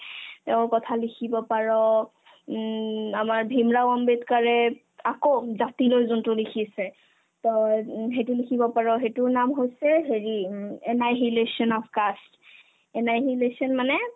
তেওঁৰ কথা লিখিব পাৰ উম আমাৰ ভিমৰাও আম্বেদকাৰে আকৌ জাতিলৈ যোনতো লিখিছে তই উম সেইটো লিখিব পাৰ সেটোৰ নাম হৈছে হেৰি উম annihilation of caste annihilation মানে